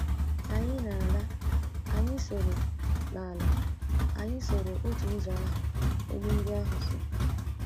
Ka anyị na-ala, anyị soro na-ala, anyị soro otu ụzọ ahụ enyí ndị ahụ so.